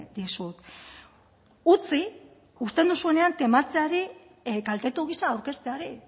dizut utzi uzten duzuenean tematzeari kaltetu gisa aurkezteari